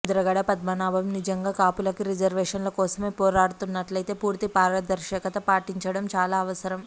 ముద్రగడ పద్మనాభం నిజంగా కాపులకి రిజర్వేషన్ల కోసమే పోరాడుతున్నట్లయితే పూర్తి పారదర్శకత పాటించడం చాలా అవసరం